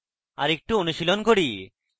আরেকটু অনুশীলন করি